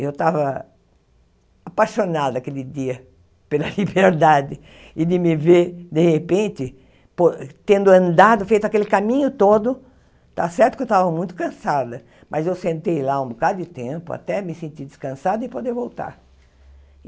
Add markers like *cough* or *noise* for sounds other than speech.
Eu tava apaixonada aquele dia pela *laughs* liberdade e de me ver, de repente, po tendo andado, feito aquele caminho todo, tá certo que eu tava muito cansada, mas eu sentei lá um bocado de tempo, até me sentir descansada e poder voltar.